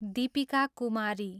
Deepika Kumari